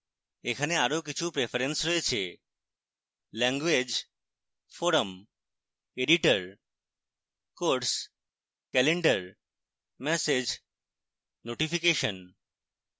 এখানে আরো কিছু প্রেফারেন্স রয়েছে: